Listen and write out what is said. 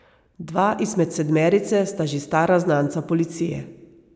Dva izmed sedmerice sta že stara znanca policije.